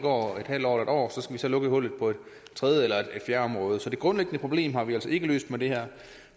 år eller en år skal til at lukke hullet på et tredje eller et fjerde område så det grundlæggende problem har vi altså ikke løst med det her